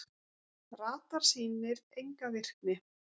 Radar sýnir enga virkni